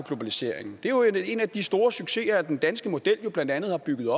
globaliseringen det er jo en af de store succeser som den danske model blandt andet har bygget